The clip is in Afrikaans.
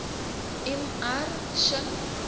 m r shinn